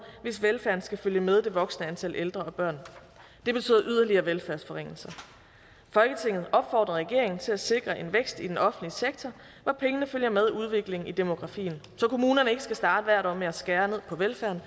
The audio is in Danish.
hvis velfærden skal følge med det voksende antal ældre og børn det betyder yderligere velfærdsforringelser folketinget opfordrer regeringen til at sikre en vækst i den offentlige sektor hvor pengene følger med udviklingen i demografien så kommunerne ikke skal starte hvert år med at skære ned på velfærden